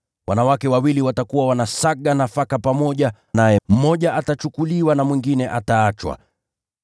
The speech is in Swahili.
Wanawake wawili watakuwa wanasaga nafaka pamoja; naye mmoja atatwaliwa na mwingine ataachwa. [